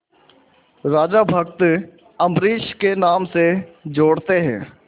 राजा भक्त अम्बरीश के नाम से जोड़ते हैं